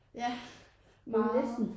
Ja meget